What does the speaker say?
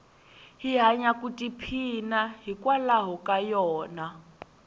hi hanya ku i phina yi nkwalayo ka yona